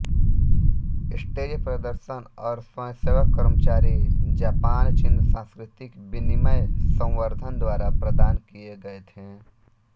stage प्रदर्शन और स्वयंसेवक कर्मचारी जापानचीन सांस्कृतिक विनिमय संवर्धन द्वारा प्रदान किए गए थे